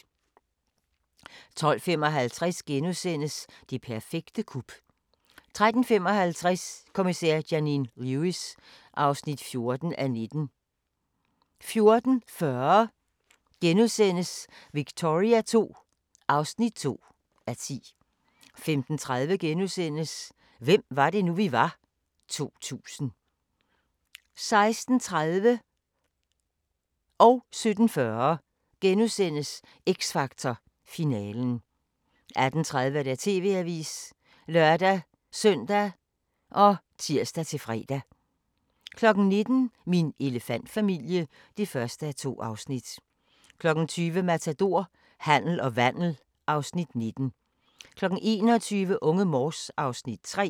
12:55: Det perfekte kup * 13:55: Kommissær Janine Lewis (14:19) 14:40: Victoria II (2:10)* 15:30: Hvem var det nu, vi var? - 2000 * 16:30: X Factor finalen * 17:40: X Factor finalen * 18:30: TV-avisen (lør-søn og tir-fre) 19:00: Min elefantfamilie (1:2) 20:00: Matador - handel og vandel (Afs. 19) 21:00: Unge Morse (Afs. 3)